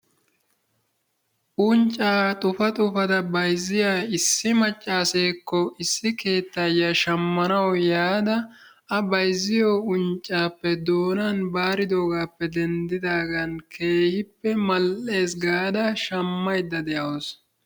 Unccaa xupa xupada bayzziya issi maccaseekko issi keettayiyaa shammanawu yaada a bayzziyo unccaappe doonaan baridoogaappe denddidaagan keehippe mal"ees gaada shammaydda de'awusu.